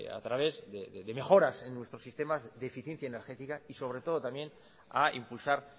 a través de mejoras en nuestro sistema de eficiencia energética sobre todo también a impulsar